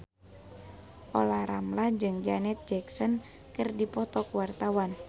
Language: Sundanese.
Olla Ramlan jeung Janet Jackson keur dipoto ku wartawan